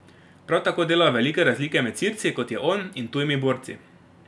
Prav tako delajo velike razlike med Sirci, kot je on, in tujimi borci.